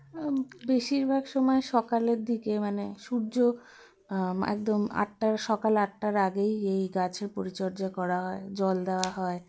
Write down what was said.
অম বেশিরভাগ সময় সকালের দিকে মানে সূর্য আম একদম আটটার সকাল আটটার আগেই এই গাছের পরিচর্যা করা হয় জল দেওয়া হয়